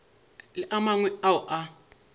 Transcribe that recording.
le a mangwe ao a